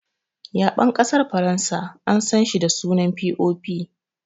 Ya6en ƙasar Faransa an san shi da sunan "POP"